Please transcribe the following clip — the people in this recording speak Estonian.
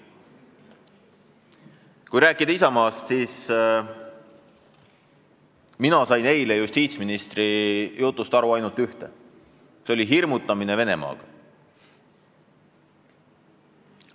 Kui rääkida Isamaast, siis mina sain eile justiitsministri jutust aru ainult ühte: see oli hirmutamine Venemaaga.